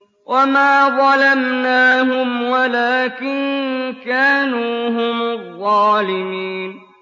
وَمَا ظَلَمْنَاهُمْ وَلَٰكِن كَانُوا هُمُ الظَّالِمِينَ